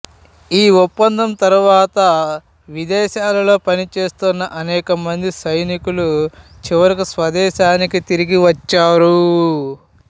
ఈ ఒప్పందం తరువాత విదేశాలలో పనిచేస్తున్న అనేక మంది సైనికులు చివరకు స్వదేశానికి తిరిగి వచ్చారు